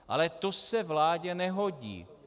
Ale to se vládě nehodí.